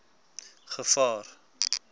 gevaar